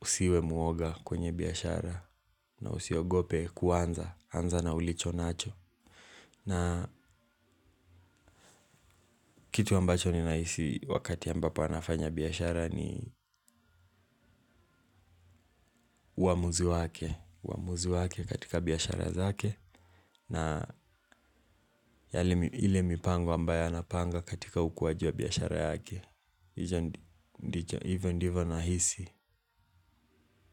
usiwe muoga kwenye biashara na usiogope kuanza, anza na ulicho nacho. Na kitu ambacho ninahisi wakati ambapo anafanya biashara ni uamuzi wake. Uamuzi wake katika biashara zake. Na ile mipango ambayo anapanga katika ukuwaji wa biashara yake hicho ndicho hivyo ndivyo nahisi.